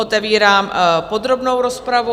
Otevírám podrobnou rozpravu.